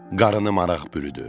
Qarını maraq bürüdü.